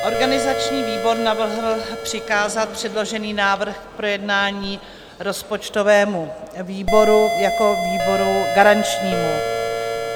Organizační výbor navrhl přikázat předložený návrh k projednání rozpočtovému výboru jako výboru garančnímu.